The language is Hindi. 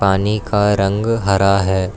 पानी का रंग हरा है।